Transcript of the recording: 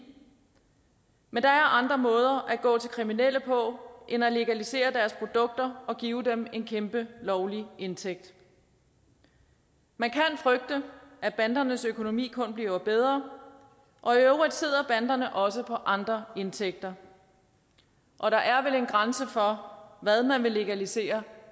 men der er andre måder at gå til kriminelle på end at legalisere deres produkter og give dem en kæmpe lovlig indtægt man kan frygte at bandernes økonomi kun bliver bedre og i øvrigt sidder banderne også på andre indtægter og der er vel en grænse for hvad man vil legalisere